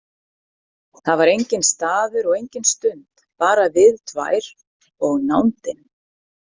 Það var enginn staður og engin stund, bara við tvær og nándin.